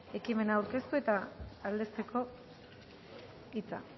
ekimena aurkeztu eta aldezteko hitza